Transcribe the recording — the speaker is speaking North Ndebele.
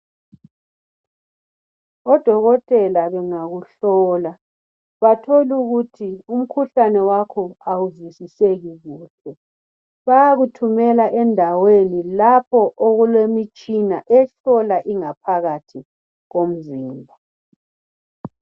Odokotela bengakuhlola batholukuthi umkhuhlane wakho awuzwisiseki kuhle bayakuthumela endaweni lapho okulemitshina ehlola ingaphakathi komzimba.